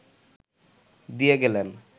দিয়ে গেলেন